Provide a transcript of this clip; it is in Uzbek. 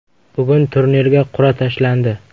Bugun turnirga qur’a tashlandi.